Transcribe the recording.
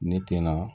Ne tɛna